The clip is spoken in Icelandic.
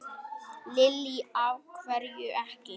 Lillý: Af hverju ekki?